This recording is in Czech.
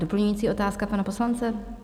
Doplňující otázka pana poslance?